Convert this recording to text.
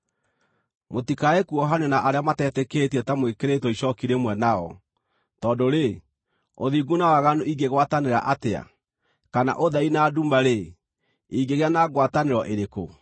Mũtikae kuohanio na arĩa matetĩkĩtie ta mwĩkĩrĩtwo icooki rĩmwe nao. Tondũ-rĩ, ũthingu na waganu ingĩgwatanĩra atĩa? Kana ũtheri na nduma-rĩ, ingĩgĩa na ngwatanĩro ĩrĩkũ?